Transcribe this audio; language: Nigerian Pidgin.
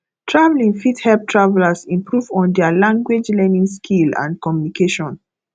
traveling fit help travelers improve on their language learning skill and communication